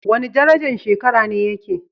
Wani darajan shekara ne yake?